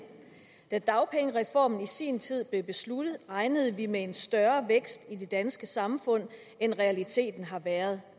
da dagpengereformen i sin tid blev besluttet regnede vi med en større vækst i det danske samfund end realiteten har været